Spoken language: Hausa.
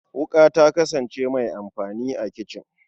Wuƙa ta kasane mai amfani a kicin.